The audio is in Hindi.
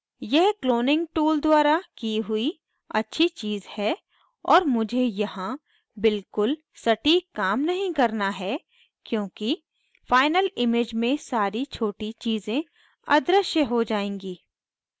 यह cloning tool द्वारा की हुई अच्छी चीज़ है और मुझे यहाँ बिलकुल सटीक काम नहीं करना है क्योंकि final image में सारी छोटी चीज़ें अदृश्य हो जाएँगी